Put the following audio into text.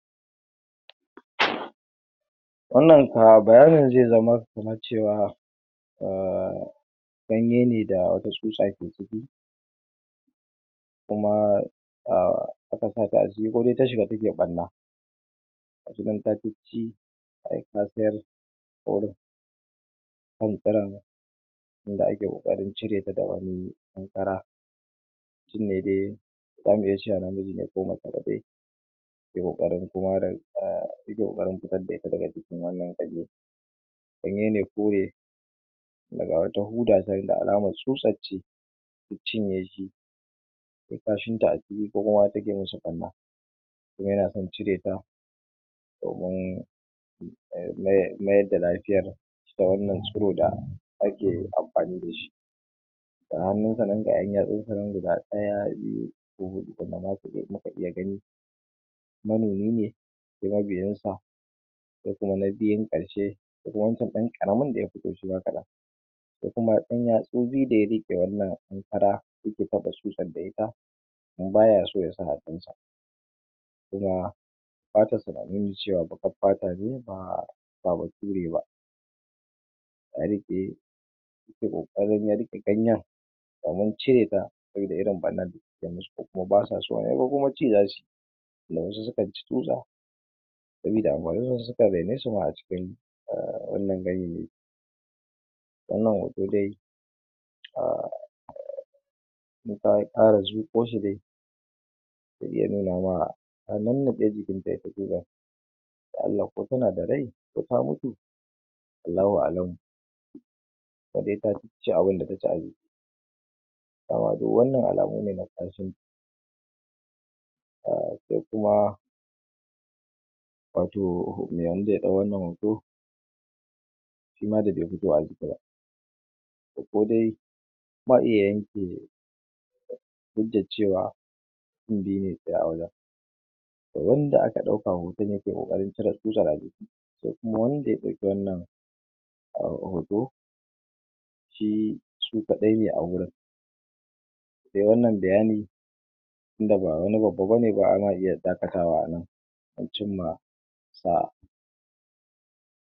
Wannan kuwa bayanin zai zama kaman ce wa um ganyene da wata tsutsa ke ciki, kuma um aka sata a ciki kode ta shiga take ɓanna ga shi nan ta cicci ai kasayar inda ake ƙoƙarin cireta da wani ɗan kara mutum ne dai zamu iya cewa namiji ne mace dai yake ƙoƙarin um yake ƙoƙarin fitar da ita daga jikin wannan ganye, ganye ne kore inda ga wata huda can ga alama tsutsar ce ta cinye shi, tai kashinta a ciki ko kuma ta ke ma shi ɓanna kuma ya na son cireta domin um mayar mayarda lafiyar ta wannan tsiro da ake amfani da shi, ga hannunsa nan ga 'yan yatsunsa nan guda ɗaya, biyu ko huɗu wanda ma su muka iya gani, monomi ne sai mabiyinsa, sai kuma na biyun ƙarshe ko kuma wancan ɗan ƙaramin da ya fito shima kaɗan, sai kuma 'yan yatsu biyu da ya riƙe wannan ɗan kara da yake kwaɓe tsutsar da ita kuma baya so ya sa hannunsa, kuma fatarsa na nuni ce wa baƙar fata ne ba ba bature ba, ya riƙe yake ƙoƙarin ya riƙe ganyen domin cireta, sabida irin ɓannandda ta ke masu ko kuma ba sa so ne ko kuma ci zasuyi, saboda wasu sukan ci tsutsa sabida anhwaninsu wasu ma sukan rene su ma a cikin wannan ganyayyaki, wannan hoto dai um mun ɗan ƙara zuƙo shi dai to zai nuna ma an nannaɗe jikinta ita tsutsar ya'alla ko tana da rai ko ta mutu Allahu a'alamu, ita dai ta cicci abinda ta ci dama dai wannan alamu ne na ƙanshin [um]sai kuma wato mai wanda ya ɗau wannan hoto shima da bai fito a jika ba to ko dai ma iya yanke hujjar cewa mutum biyu ne tsaye a wajen da wanda aka ɗauka hoton ya ke ƙoƙarin cire tsutsar a jiki, sai kuma wanda ya ɗauki wannan um hoto shi su kaɗai ne a waurin, sai wannan bayani tunda ba wani babba bane ba ana iya dakatawa a nan an cimma saa'a.